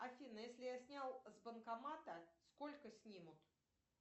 афина если я снял с банкомата сколько снимут